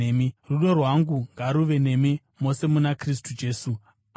Rudo rwangu ngaruve nemi mose muna Kristu Jesu. Ameni.